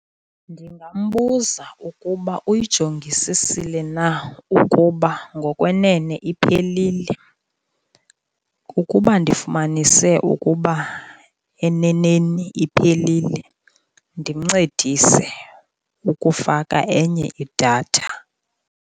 Ndingambuza ukuba uyijongisisile na ukuba ngokwenene iphelile. Ukuba ndifumanise ukuba eneneni iphelile ndimncedise ukufaka enye idatha.